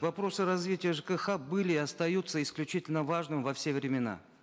вопросы развития жкх были и остаются исключительно важными во все времена